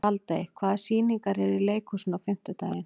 Baldey, hvaða sýningar eru í leikhúsinu á fimmtudaginn?